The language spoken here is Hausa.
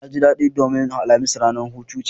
Naji daɗi domin alhamis ranar hutu ce